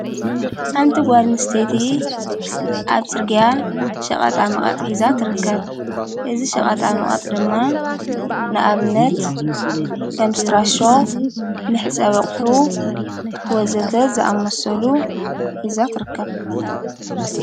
ሓንቲ ጓድኒ ስተቲ ኣብ ጽርግያ ሸቐጣ መቐጥ ኂዛት ርከብ እዝ ሸቐጣ መቐጥ ድማ ንኣብነት ከምስትራሾ ምሕ ጸበቕሑ ወዘተት ዝኣመሰሉ ኂዛት ርከብ።